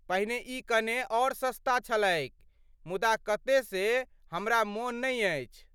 पहिने ई कने और सस्ता छलैक मुदा कते से हमरा मोन नहि अछि।